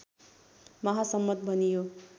महासम्मत भनियो